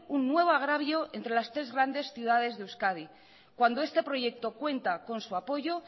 un nuevo agravio entre las tres grandes ciudades de euskadi cuando este proyecto cuenta con su apoyo